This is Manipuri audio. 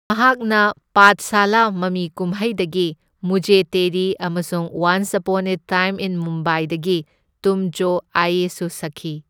ꯃꯍꯥꯛꯅ ꯄꯥꯊꯁꯥꯂꯥ ꯃꯃꯤ ꯀꯨꯝꯍꯩꯗꯒꯤ ꯃꯨꯓꯦ ꯇꯦꯔꯤ ꯑꯃꯁꯨꯡ once upon a time in ꯃꯨꯝꯕꯥꯏꯗꯒꯤ ꯇꯨꯝ ꯖꯣ ꯑꯥꯌꯦ ꯁꯨ ꯁꯛꯈꯤ꯫